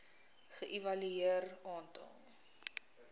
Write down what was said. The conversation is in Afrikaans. ge evalueer aantal